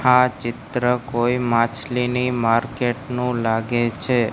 આ ચિત્ર કોઈ માછલીની માર્કેટ નું લાગે છે.